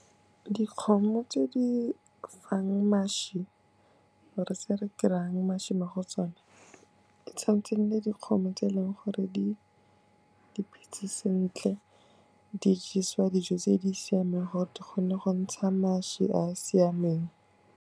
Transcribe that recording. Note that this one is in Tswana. Dikgomo tse di fang mašwi or-e tse re dirang mašwi mo go tsone, e tshwan'tse e nne dikgomo tse e leng gore diphetse sentle, di jesiwa dijo tse di siameng gore di kgone go ntsha mašwi a a siameng.